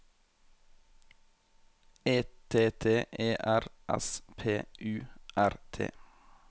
E T T E R S P U R T